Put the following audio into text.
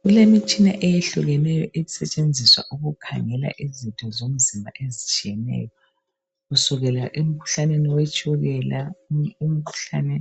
Kulemitshina eyehlukeneyo esetshenziswa ukukhangela izitho zomzimba ezitshiyeneyo kusukela emkhuhlaneni wetshukela, umkhuhlane